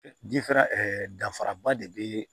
Diferan danfara ba de bɛ